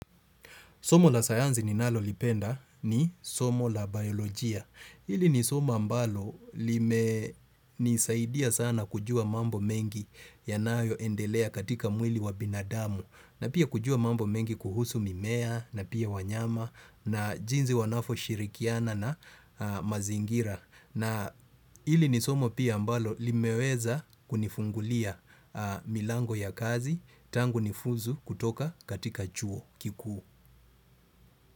Somo la sayanzi ninalolipenda ni somo la baiolojia. Ili ni somo ambalo limenisaidia sana kujua mambo mengi yanayoendelea katika mwili wa binadamu. Na pia kujua mambo mengi kuhusu mimea na pia wanyama na jinzi wanavyoshirikiana na mazingira. Na ili ni somo pia ambalo limeweza kunifungulia milango ya kazi tangu nifuzu kutoka katika chuo kikuu.